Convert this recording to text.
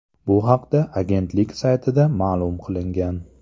Bu haqda agentlik saytida ma’lum qilingan .